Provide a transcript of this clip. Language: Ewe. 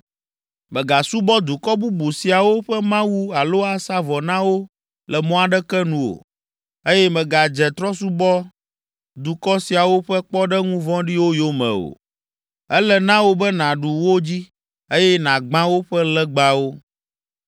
“Mègasubɔ dukɔ bubu siawo ƒe mawu alo asa vɔ na wo le mɔ aɖeke nu o, eye mègadze trɔ̃subɔdukɔ siawo ƒe kpɔɖeŋu vɔ̃ɖiwo yome o. Ele na wò be nàɖu wo dzi, eye nàgbã woƒe legbawo.